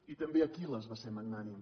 i també aquil·les va ser magnànim